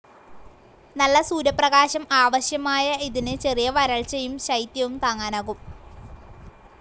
നല്ല സൂര്യപ്രകാശം ആവശ്യമായ ഇതിന് ചെറിയ വരൾച്ചയും ശൈത്യവും താങ്ങാനാകും.